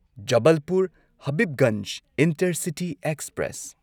Jabalpur Habibganj intercity express